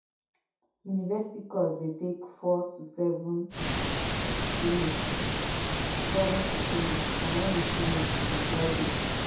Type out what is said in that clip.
university course de take four to seven to finish seven to finish and when you finish you be graduate